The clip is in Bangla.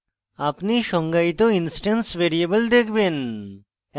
আপনি সংজ্ঞায়িত instance ভ্যারিয়েবল দেখবেন